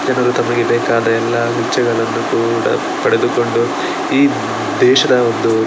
ಜನರು ತಮಗೆ ಬೇಕಾದ ಎಲ್ಲಾ ಗುಚ್ಛಗಳನ್ನು ಕೂಡ ಪಡೆದುಕೊಂಡು ಈ ದೇಶದ ಒಂದು --